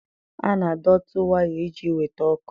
A na-adọtị waya iji weta ọkụ.